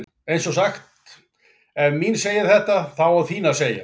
Eins er sagt: Ef mín segir þetta þá á þín að segja.